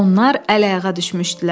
Onlar əl-ayağa düşmüşdülər.